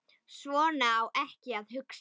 Svona á ekki að hugsa.